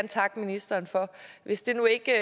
takke ministeren for hvis det nu ikke